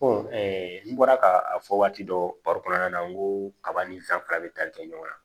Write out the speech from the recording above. n bɔra ka a fɔ waati dɔ baro kɔnɔna na n ko kaba ni fɛn fila bɛ tali kɛ ɲɔgɔn na